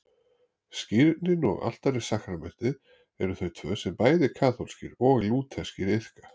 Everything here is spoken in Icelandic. Skírnin og altarissakramentið eru þau tvö sem bæði kaþólskir og lútherskir iðka.